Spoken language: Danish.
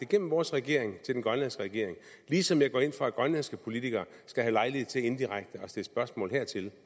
gennem vores regering til den grønlandske regering ligesom jeg går ind for at grønlandske politikere skal have lejlighed til indirekte at stille spørgsmål hertil